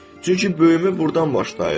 Çünki böyümə burdan başlayır.